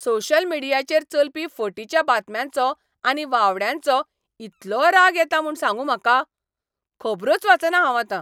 Social मिडियाचेर चलपी फटीच्या बातम्यांचो आनी वावड्यांचो इतलो राग येता म्हूण सांगूं म्हाका! खबरोच वाचना हांव आतां.